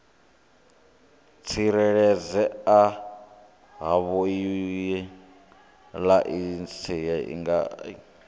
tsireledzea havhoiyi laisentsi i nga